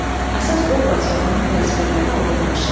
Əsas obraz və onun vəzifələri aydınlaşır.